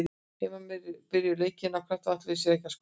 Heimamenn byrjuðu leikinn af krafti og ætluðu sér að skora snemma.